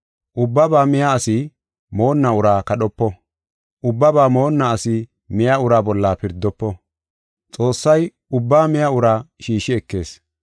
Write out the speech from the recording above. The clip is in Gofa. Ubbabaa miya asi moonna uraa kadhopo. Ubbabaa moonna asi miya uraa bolla pirdofo. Xoossay ubbaa miya uraa shiishi ekis.